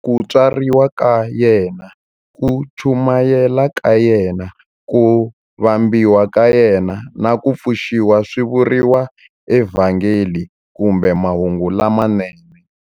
Ku tswariwa ka yena, ku chumayela ka yena, ku vambiwa ka yena, na ku pfuxiwa swi vuriwa eVhangeli kumbe Mahungu lamanene.